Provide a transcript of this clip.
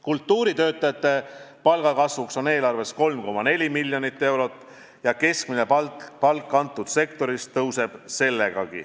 Kultuuritöötajate palga tõstmiseks on eelarves 3,4 miljonit eurot ja keskmine palk ka selles sektoris tõuseb.